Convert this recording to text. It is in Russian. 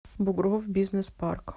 бугров бизнес парк